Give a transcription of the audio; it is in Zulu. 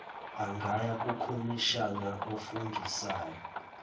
angaya kukhomishina ofungisayo